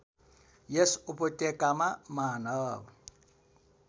यस उपत्यकामा मानव